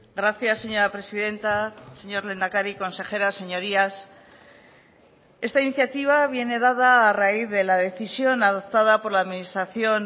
gracias señora presidenta señor lehendakari consejera señorías esta iniciativa viene dada a raíz de la decisión adoptada por la administración